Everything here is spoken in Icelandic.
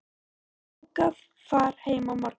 Ég á bókað far heim á morgun.